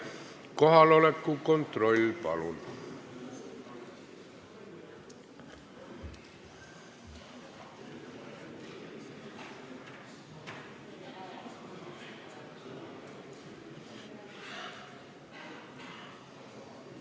Kohaloleku kontroll, palun!